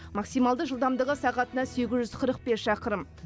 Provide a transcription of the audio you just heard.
максималды жылдамдығы сағатына сегіз жүз қырық бес шақырым